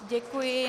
Děkuji.